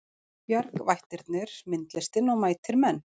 Bjargvættirnir myndlistin og mætir menn